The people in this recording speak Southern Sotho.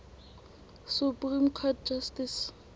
supreme court justice